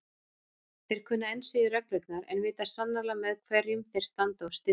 Þeir kunna enn síður reglurnar en vita sannarlega með hverjum þeir standa og styðja.